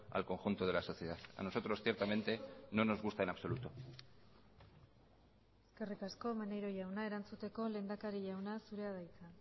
al conjunto de la sociedad a nosotros ciertamente no nos gusta en absoluto eskerrik asko maneiro jauna erantzuteko lehendakari jauna zurea da hitza